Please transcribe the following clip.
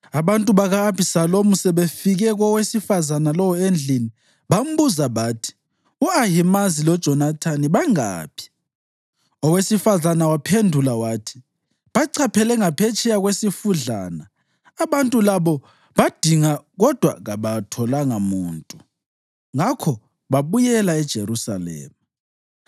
Abantu baka-Abhisalomu sebefike kowesifazane lowo endlini, bambuza bathi, “U-Ahimazi loJonathani bangaphi?” Owesifazane wabaphendula wathi, “Bachaphele ngaphetsheya kwesifudlana.” Abantu labo badinga kodwa kabatholanga muntu, ngakho babuyela eJerusalema.